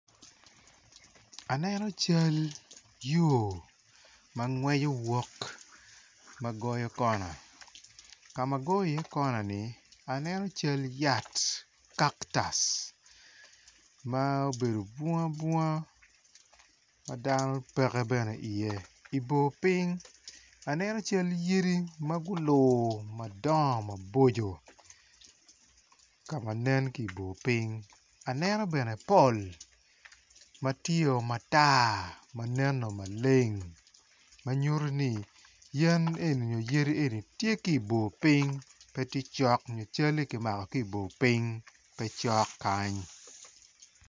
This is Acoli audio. Aneno cal yo mangweco yot magoyo kona, kama goyo i ye kona ni aneno cal yat kaktus ma obedo bunga bunga madano peke bene i ye, i bor ping aneno cal yadi magulor maboco, kama nen ki bor ping aneno bene pol matye o matar maneno maleng manyuto ni yadi enini tye ki bor ping petye cok nyo calli kimako ki bor ping pe cok kany.